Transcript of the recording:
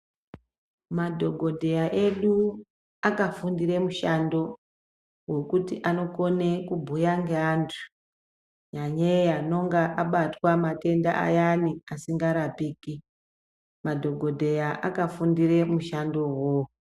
Madhogodheya edu akafundire mushando, wokuti anokone kubhuya ngeantu, nyanyeyi anonga abatwa matenda ayani asingarapiki. Madhokodheya akafundire mushandowo uwowo.